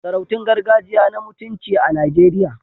Sarautun gargajiya na mutunci a Najeriya.